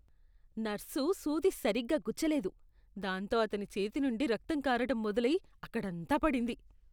Nurse సూది సరిగ్గా గుచ్చలేదు, దాంతో అతని చేతి నుండి రక్తం కారటం మొదలై అక్కడంతా పడింది.